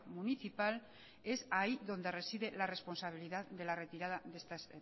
municipal es ahí donde reside la responsabilidad de la retirada de estas